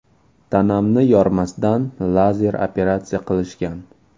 Tanamni yormasdan, lazer operatsiya qilishgan.